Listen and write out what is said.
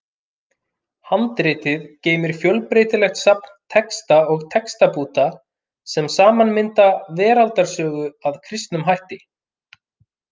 Handritið geymir fjölbreytilegt safn texta og textabúta sem saman mynda veraldarsögu að kristnum hætti.